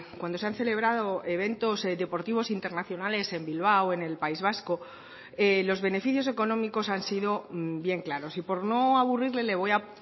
cuando se han celebrado eventos deportivos internacionales en bilbao en el país vasco los beneficios económicos han sido bien claros y por no aburrirle le voy a